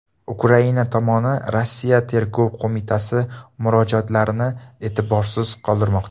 Ukraina tomoni Rossiya Tergov qo‘mitasi murojaatlarini e’tiborsiz qoldirmoqda.